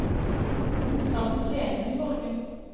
Hun skal på scenen i morgen.